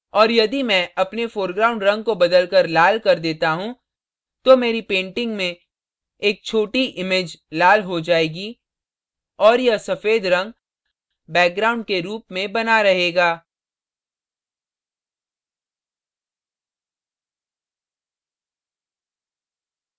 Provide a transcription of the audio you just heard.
और यदि मैं अपने foreground रंग को बदलकर लाल कर देता हूँ तो मेरी painting में एक छोटी image लाल हो जायेगी और यह सफ़ेद रंग background के रूप में बना रहेगा